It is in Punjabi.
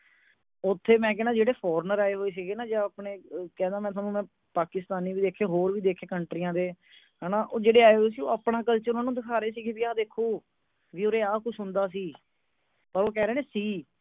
ਓਥੇ ਮੈਂ ਕਹਿਨਾਂ ਜਿਹੜੇ former ਆਏ ਹੋਏ ਸੀਗੈ ਨਾ ਜਾਂ ਆਪਣੇ ਅਹ ਕਹਿੰਦਾ ਮੈਂ ਤੁਹਾਨੂੰ ਮੈਂ ਪਾਕਿਸਤਾਨੀ ਵੀ ਵੇਖੋ ਹੋਰ ਵੀ ਵੇਖੇ countries ਦੇ ਹੈ ਨਾ ਉਹ ਜਿਹੜੇ ਆਏ ਹੋਈ ਸੀ ਉਹ ਆਪਣਾ culture ਉਹਨੂੰ ਦਿਖਾ ਰਹੇ ਸੀਗੈ ਕਿ ਆਹ ਦੇਖੋ ਓਰਏ ਆ ਕੁਝ ਹੁੰਦਾ ਸੀ ਪਰ ਉਹ ਕਹਿ ਰਹੇ ਨੇ ਸੀ